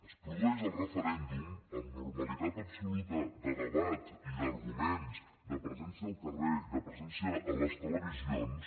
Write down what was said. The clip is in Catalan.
es produeix el referèndum amb normalitat absoluta de debat i d’arguments de presència al carrer i de presència a les televisions